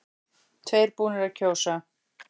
Tveir búnir að kjósa